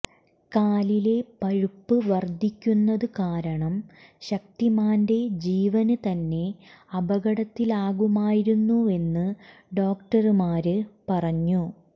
കാലിലെ പഴുപ്പ് വര്ദ്ധിക്കുന്നതു കാരണം ശക്തിമാന്റെ ജീവന് തന്നെ അപകടത്തിലാകുമായിരുന്നുവെന്ന് ഡോക്ടര്മാര് പറഞ്ഞു